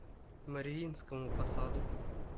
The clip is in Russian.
мариинскому посаду